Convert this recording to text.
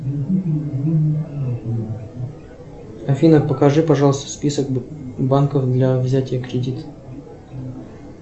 афина покажи пожалуйста список банков для взятия кредита